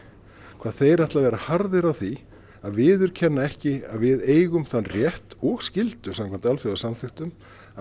hvað þeir ætla að vera harðir á því að viðurkenna ekki að við eigum þann rétt og skyldu samkvæmt alþjóðasamþykktum að